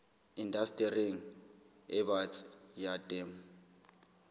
indastering e batsi ya temo